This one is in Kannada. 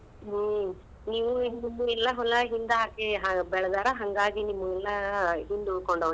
ಹ್ಮ್‌ ನೀವೂ ಎಲ್ಲಾ ಹೊಲ ಹಿಂದ ಹಾಕಿ ಬೆಳ್ದಾರ ಹಂಗಾಗಿ ನಿಮ್ಗ ಹಿಂದ್ ಉಳ್ಕೊಂಡಾವ್.